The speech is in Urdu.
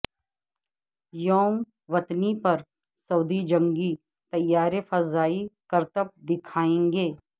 یوم وطنی پر سعودی جنگی طیارے فضائی کرتب دکھائینگے